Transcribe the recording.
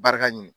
Barika ɲini